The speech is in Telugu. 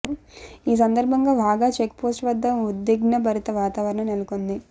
ఈ సందర్భంగా వాఘా చెక్ పోస్ట్ వద్ద ఉద్విగ్నభరిత వాతావరణం నెలకొంది